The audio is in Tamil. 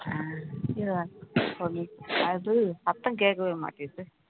அது சத்தம் கேட்கவே மாட்டுது